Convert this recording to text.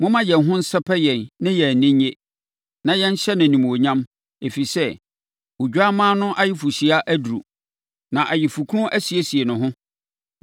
Momma yɛn ho nsɛpɛ yɛn na yɛn ani nnye na yɛnhyɛ no animuonyam! Ɛfiri sɛ Odwammaa no ayeforɔhyia aduru, na nʼayefokunu asiesie ne ho.